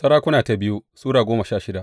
biyu Sarakuna Sura goma sha shida